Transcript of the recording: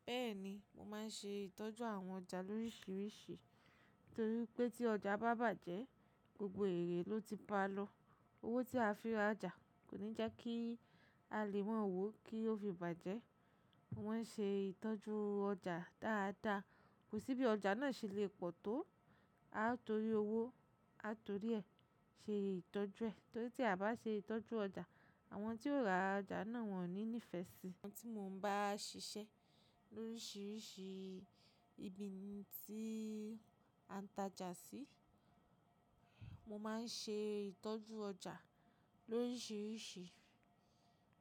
Bẹ́ẹ̀ni, mo máa ń ṣe ìtọ́jú àwọn ọjà lóríṣiríṣi torí pé tí ọjà bá bàjẹ́, gbogbo ère ló ti ba lọ. Owó tí a fi ra ọjà kò ní jẹ́ kí a lè máa wò ó kí ó fi bàjẹ́. Wọ́n ṣe ìtọ́jú ọjà dáadáa, kò sí bí ọjà náà ṣe le pọ̀ tó. A torí owó, a torí ẹ̀ ṣe ìtọ́jú ẹ torí tí a bá ṣe ìtọ́jú ọjà, àwọn tí ó ra ọjà náà wọ́n ní ìní ìfẹ́ sí i. Àwọn tí mo ń bá ṣiṣẹ́ lóríṣiríṣi ibi tí a ń tajà sí, mo máa ń ṣe ìtọ́jú ọjà lóríṣiríṣi.